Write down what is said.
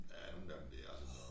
Ja nogen af dem de er altså